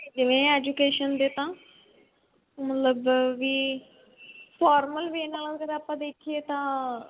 ਦਿੰਦੇ ਨੇ education ਦੇ ਤਾਂ ਮਤਲਬ ਵੀ normal way ਨਾਲ ਅਗਰ ਆਪਾਂ ਦੇਖੀਏ ਤਾਂ